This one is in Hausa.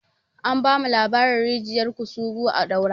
An bamu labarin rijiyar kusugu a daura